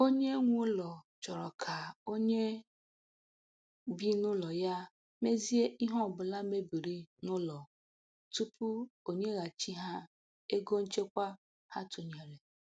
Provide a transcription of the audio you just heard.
Onye nwe ụlọ chọrọ ka onye bi n'ụlọ ya mezie ihe ọbụla mebiri n'ụlọ tupu o nyeghachi ha ego nchekwa ha tụnyere.